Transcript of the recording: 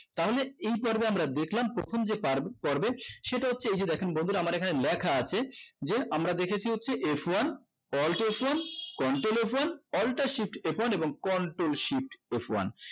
তাহলে এই পর্বে আমরা দেখলাম প্রথম যে পারবে পর্বে সেটা হচ্ছে এই যে দেখেন বন্দুরা আমার এখানে লেখা আছে আমরা দেখেছি হচ্ছে f one alt f one control f one alter shift f one এবং control shift f one